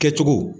Kɛcogo